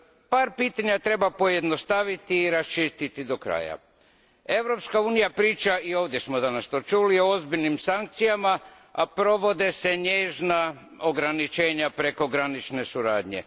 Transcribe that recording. Par pitanja treba pojednostaviti i raščistiti do kraja Europska unija priča, i danas smo to čuli, o ozbiljnim sankcijama, a provode se nježna ograničenja prekogranične suradnje.